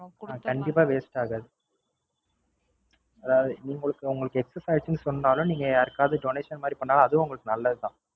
அதாவது உங்களுக்கு Excess ஆச்சுன்னாலும் நீங்க யாருக்காவது Donation மாதிரி பண்ணாலும் அதுவும் உங்களுக்கு நல்லது தான்